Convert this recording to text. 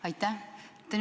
Aitäh!